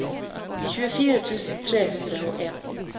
tjuefire tusen tre hundre og en